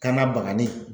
Kan ka bagani